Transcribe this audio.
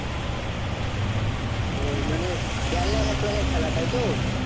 ও মানে দেড় লাখ এক লাখের খেলা তাইতো